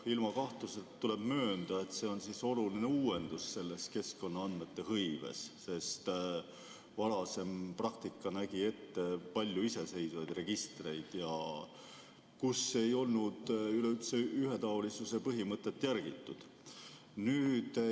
Ilma kahtluseta tuleb möönda, et see on oluline uuendus selles keskkonnaandmete hõives, sest varasem praktika nägi ette palju iseseisvaid registreid, kus ei olnud üleüldse ühetaolisuse põhimõtet järgitud.